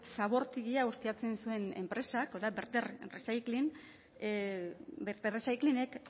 zabortegia ustiatzen zuen enpresak hau da verter recyclingek